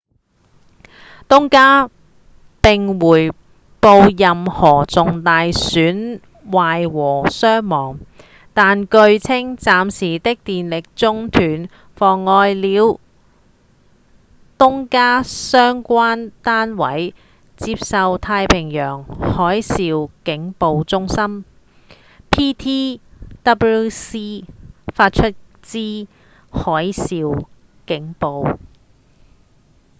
東加並未回報任何重大損壞或傷亡但據稱暫時的電力中斷妨礙了東加相關單位接收太平洋海嘯警報中心 ptwc 發出之海嘯警報